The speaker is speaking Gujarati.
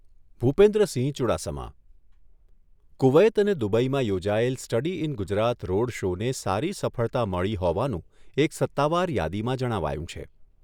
ભૂપેન્દ્રસિંહ ચુડાસમા કુવૈત અને દુબઈમાં યોજાયેલ સ્ટડી ઇન ગુજરાત રોડ શોને સારી સફળતા મળી હોવાનું એક સત્તાવાર યાદીમાં જણાવાયું છે.